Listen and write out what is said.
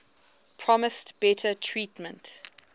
promised better treatment